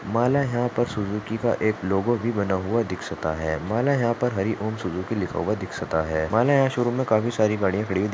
मला या पर सुज़ुकी चा एक लोगो भी बना हुआ दिक्सता आहे मला यहा पर हरी ओम सुज़ुकी लिखा हुआ हुआ दिक --